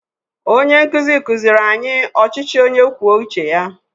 Onye nkuzi kuziri anyị ọchịchị onye kwuo uche ya